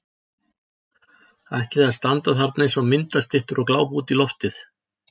Ætliði að standa þarna eins og myndastyttur og glápa út í loftið!